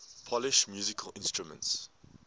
polish musical instruments